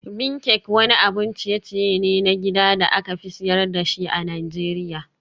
Bean cake wani abun ciye-ciye ne na gida da aka fi sayar da shi a Najeriya.